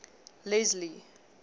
leslie